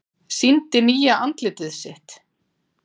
Sýndi nýja andlitið sitt